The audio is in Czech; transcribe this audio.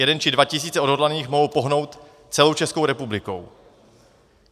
Jeden či dva tisíce odhodlaných mohou pohnout celou Českou republikou.